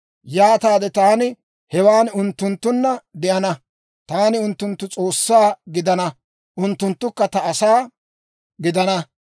Yaataade taani hewan unttunttunna de'ana. Taani unttunttu S'oossaa gidana; unttunttukka ta asaa gidana.